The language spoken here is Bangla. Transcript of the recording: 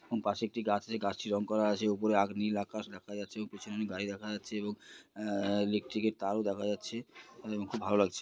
হু পাশে একটি গাছ আছে। গাছটি রং করা আছে ওপরে আ নীল আকাশ দেখা যাচ্ছে ও পিছনে অনেক গাড়ি দেখা আছে এবং আ-আ ইলেকট্রিকের তারও দেখা যাচ্ছে এবং খুব ভালো লাগছে।